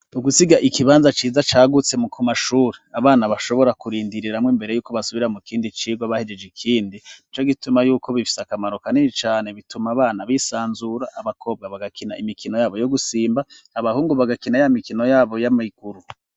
Ugusiga ikibanza ciza cagutse m ku mashuri abana bashobora kurindiriramo imbere yuko basubira mu kindi cigwa bahegeje ikindi ico gituma yuko bifise akamaro kanini cane bituma abana bisanzura abakobwa bagakina imikino yabo yo gusimba abahungu bagakina yamikino yabo y'amiguru.